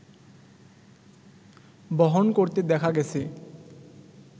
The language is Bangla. বহন করতে দেখা গেছে